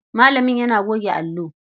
Malamin yana goge allo.